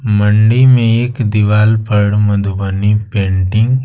मंडी में एक दीवाल पर मधुबनी पेंटिंग --